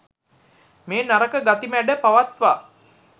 මේ නරක ගති මැඩ පවත්වා